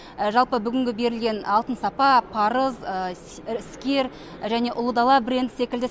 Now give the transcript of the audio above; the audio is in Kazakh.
жалпы бүгінгі берілген алтын сапа парыз іскер және ұлы дала бренд секілді